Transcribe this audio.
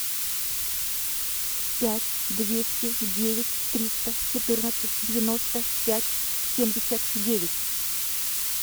пять двести девять триста четырнадцать девяносто пять семьдесят девять